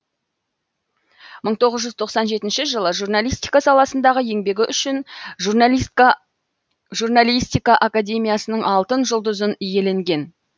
мың тоғыз жүз тоқсан жетінші жылы журналистика саласындағы еңбегі үшін журналистика академиясының алтын жүлдызын иеленген